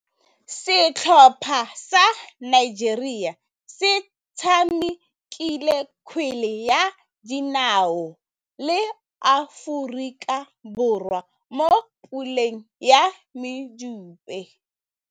Setlhopha sa Nigeria se tshamekile kgwele ya dinaô le Aforika Borwa mo puleng ya medupe.